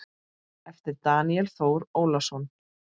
eftir Daníel Þór Ólason